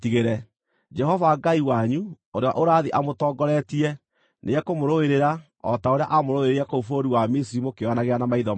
Jehova Ngai wanyu, ũrĩa ũrathiĩ amũtongoretie, nĩekũmũrũĩrĩra, o ta ũrĩa aamũrũĩrĩire kũu bũrũri wa Misiri mũkĩĩonagĩra na maitho manyu,